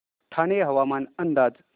ठाणे हवामान अंदाज